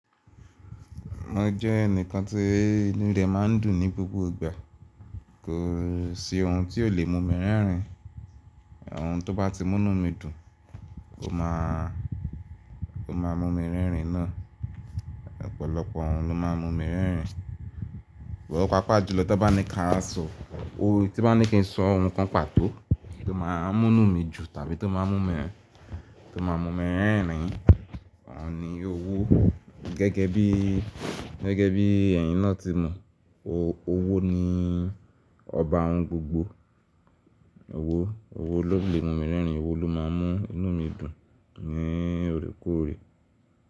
Mo jẹ́ ẹnìkan tí inú rẹ má ń dùn ní gbogbo ìgbà. Kò sí ohun tí ó lè mú mi rẹ́rìn. Ohun tó bá ti múnú mi dùn, ó má mú mi rẹ́rìn náà. Ọ̀pọ̀lọpọ̀ ohun ló má ń mú mi rẹ́rìn. Wọ̀ páapaà jùlọ tí bá ń ní kí a sọ, tí bá ń ní kí n sọ ohun kan pàtó tó má ń múnú mi jù tàbí tó má ń mú mi rẹ́rìn, òhun ní owó. Gẹ́gẹ́ bí ẹ̀yin náà tí mọ, owó ní ọba ohun gbogbo. Owó ló lè mú mi rẹ́rìn, owó ló má ń mú inú mi dùn ní òrékòóre.